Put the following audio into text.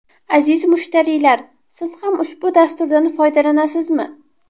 Aziz mushtariylar, siz ham ushbu dasturdan foydalanasizmi?